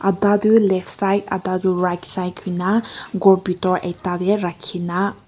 adda du left side adda du right side hui na ghor bitor ekta de rakhi na.